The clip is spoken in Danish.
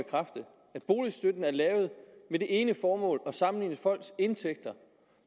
boligstøtten er lavet med det ene formål at sammenligne folks indtægter